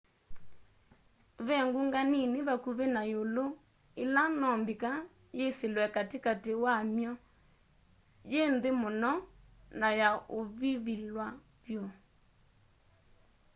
ve ngunga nini vakuvĩ na ĩũlũ ĩla no mbika yĩsĩlwe katĩ katĩ wamy'o yĩ nthĩ mũno na ya ũvivilwa vyũ